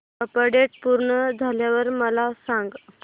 update पूर्ण झाल्यावर मला सांग